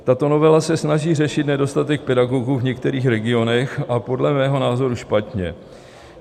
Tato novela se snaží řešit nedostatek pedagogů v některých regionech a podle mého názoru špatně.